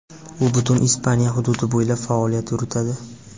U butun Ispaniya hududi bo‘ylab faoliyat yuritadi.